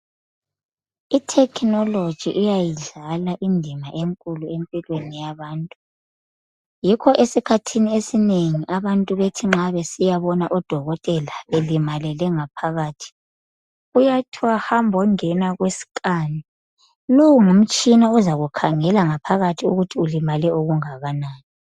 I-technology iyayidlala indima enkulu empilweni yabantu. Yikho esikhathini esinengi abantu nxa besiyabona odokotela belimalele ngaphakathi kuyathiwa hambo ngena ku scan. Lowu ngumtshina ozakukhangela ngaphakathi ukuthi ulimale kangakanani